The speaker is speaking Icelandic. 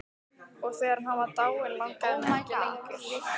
Og þegar hann var dáinn langaði mig ekki lengur.